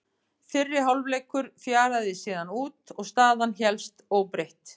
Fyrri hálfleikur fjaraði síðan út og staðan hélst óbreytt.